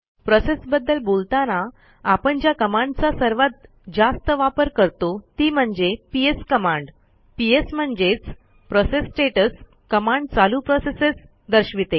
process बद्दल बोलताना आपण ज्या कमांडचा सर्वात जास्त वापर करतो ती म्हणजे psकमांड पीएस म्हणजेच प्रोसेस स्टेटस कमांड चालू प्रोसेसेस दर्शविते